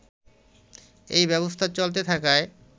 এই ব্যবস্থা চলতে থাকায়